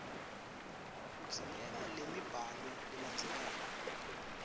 kudzingeka lemibhalo lelandzelako